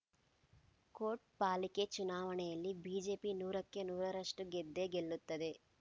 coat ಪಾಲಿಕೆ ಚುನಾವಣೆಯಲ್ಲಿ BJP ನೂರಕ್ಕೆ ನೂರರಷ್ಟುಗೆದ್ದೇ ಗೆಲ್ಲುತ್ತದೆ